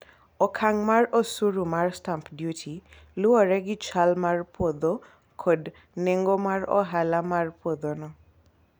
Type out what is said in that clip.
okang' mar osuru mar stamp duty luwore gi chal mar puodho kod nengo mar ohala mar puodho no